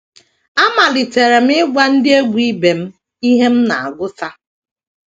Amalitere m ịgwa ndị egwú ibe m ihe m na - agụta.